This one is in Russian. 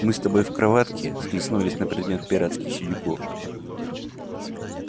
мы с тобой в кроватке схлестнулись на предмет пиратских сидюков